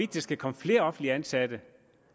der skal komme flere offentligt ansatte